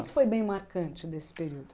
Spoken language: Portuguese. foi bem marcante desse período?